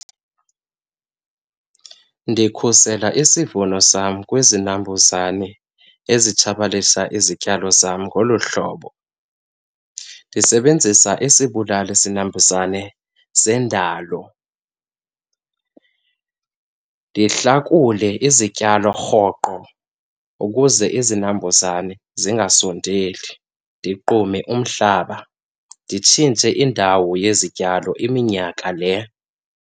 Ndikhusela isivuno sam kwizinambuzane ezitshabalisa izityalo zam ngolu hlobo. Ndisebenzisa isibulali zinambuzane sendalo, ndihlakule izityalo rhoqo ukuze izinambuzane zingasondeli, ndigqume umhlaba, nditshintshe indawo yezityalo iminyaka le.